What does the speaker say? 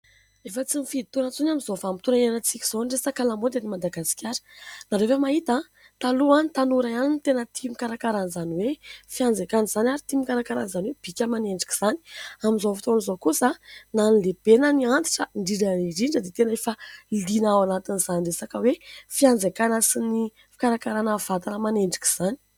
Efa tsy mifidy taona intsony amin'izao vanim-potoana hiainantsika izao ny resaka lamaody eto Madagasikara nareo ve mahita taloha ny tanora ihany no tena tia mikarakaran'izany hoe fianjaikana izany ary tia mikarakaran'izany hoe bika aman'endrika izany amin'izao fotoana izao kosa na ny lehibe na ny antitra indridraindrindra dia tena efa liana ao anatin'izany resaka hoe fianjaikana sy ny fikarakarana vatana aman'endrika izany